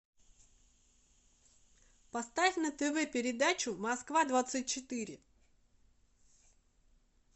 поставь на тв передачу москва двадцать четыре